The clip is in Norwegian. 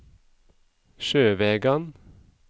Sjøvegan